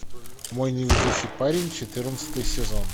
мой невезучий парень четырнадцатый сезон